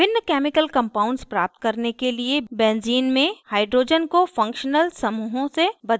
भिन्न chemical compounds प्राप्त करने के लिए benzene benzene में hydrogens को functional समूहों से बदल सकते हैं